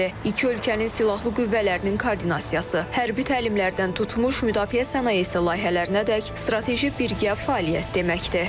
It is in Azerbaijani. İki ölkənin silahlı qüvvələrinin koordinasiyası, hərbi təlimlərdən tutmuş müdafiə sənayesi layihələrinədək strateji birgə fəaliyyət deməkdir.